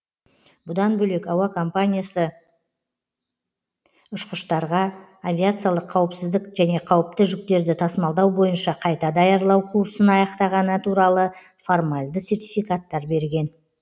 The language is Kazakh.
бұдан бөлек әуе компаниясы ұшқыштарға авиациялық қауіпсіздік және қауіпті жүктерді тасымалдау бойынша қайта даярлау курсын аяқтағаны туралы формальды сертификаттар берген